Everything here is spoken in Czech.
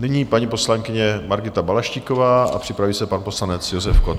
Nyní paní poslankyně Margita Balaštíková a připraví se pan poslanec Josef Kott.